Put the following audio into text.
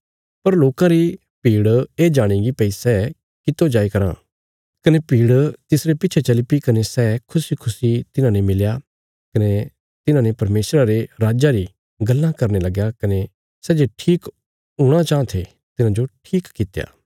पर लोकां री भीड़ ये जाणीगी भई सै कितो जाई कराँ कने भीड़ तिसरे पिच्छे चलीपी कने सै खुशीखुशी तिन्हांने मिलया कने तिन्हांने परमेशरा रे राज्जा री गल्लां करने लगया कने सै जे ठीक हूणा चाँह थे तिन्हाजो ठीक कित्या